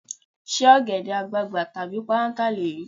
Ṣé ọ̀gẹ̀dẹ̀ àgbagbà tàbí páráǹtà lèyí?